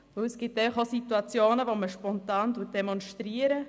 Denn es gibt auch Situationen, wo man spontan demonstriert.